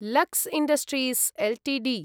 Lux industries Ltd